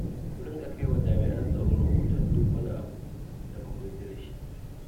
Ku rinƙa kai wa jami'an tsaro rahoton duk wani abu da ba ku yarda da shi ba.